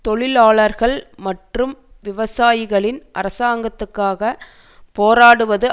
தொழிலாளர்கள் மற்றும் விவசாயிகளின் அரசாங்கத்துக்காக போராடுவது